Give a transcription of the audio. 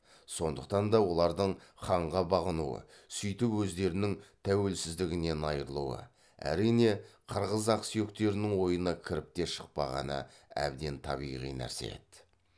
сондықтан да олардың ханға бағынуы сөйтіп өздерінің тәуелсіздігінен айырылуы әрине қырғыз ақсүйектерінің ойына кіріп те шықпағаны әбден табиғи нәрсе еді